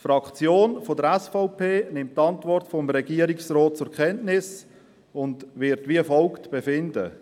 Die Fraktion der SVP nimmt die Antwort des Regierungsrats zur Kenntnis und wird wie folgt befinden.